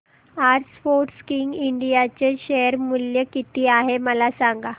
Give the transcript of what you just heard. आज Sportking India चे share मूल्य किती आहे मला सांगा